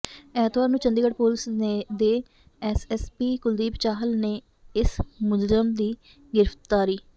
ਐਤਵਾਰ ਨੂੰ ਚੰਡੀਗੜ੍ਹ ਪੁਲਿਸ ਦੇ ਐਸਐਸਪੀ ਕੁਲਦੀਪ ਚਾਹਲ ਨੇ ਇਸ ਮੁਲਜ਼ਮ ਦੀ ਗ੍ਰਿਫਤਾਰੀ